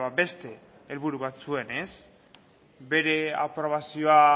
beste helburu bat zuen ez bere aprobazioa